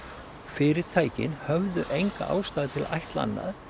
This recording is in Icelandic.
fyrirtækin höfðu enga ástæðu til að ætla annað